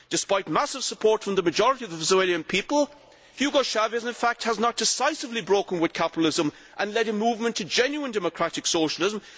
Despite massive support from the majority of the Venezuelan people, Hugo Chávez, in fact, has not decisively broken with capitalism and led a movement to genuine democratic socialism.